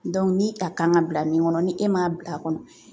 ni a kan ka bila min kɔnɔ ni e m'a bil'a kɔnɔ .